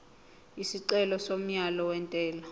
isicelo somyalo wentela